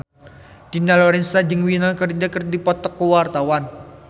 Dina Lorenza jeung Winona Ryder keur dipoto ku wartawan